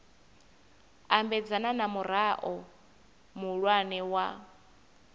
ambedzana na murao muhulwane wa